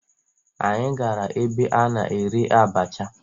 Anyị gara ebe a na-ere abacha